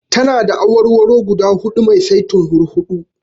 Tana da awarwaro guda huɗu mai saitin hurhuɗu.